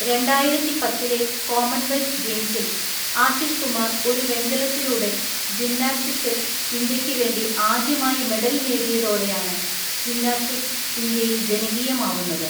രണ്ടായിരത്തിപത്തിലെ Commonwealth ഗെയിംസിൽ ആശിഷ് കുമാർ ഒരു വെങ്കലത്തിലൂടെ ജിംനാസ്റ്റിക്സിൽ ഇന്ത്യക്ക് വേണ്ടി ആദ്യമായി മെഡൽ നേടിയതോടെയാണ് ജിംനാസ്റ്റിക്സ് ഇന്ത്യയിൽ ജനകീയമാവുന്നത്.